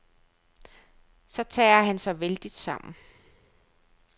Så tager han sig vældigt sammen.